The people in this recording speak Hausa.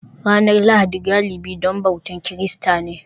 Ranar Lahadi galibi don bautar Kirista ne